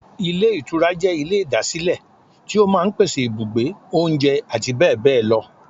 Ilé Ìtura jẹ́ Ilé ìdásílẹ̀ tí ó máa n pèsè ibùgbé, oúnjẹ àti bẹ́bẹ̀bẹ́bẹ̀ lọ